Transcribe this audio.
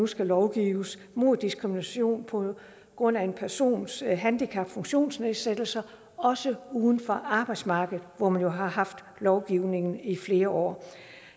skal lovgives mod diskrimination på grund af en persons handicap eller funktionsnedsættelser også uden for arbejdsmarkedet hvor man jo har haft lovgivningen i flere år